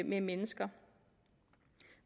med mennesker